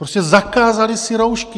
Prostě zakázali si roušky.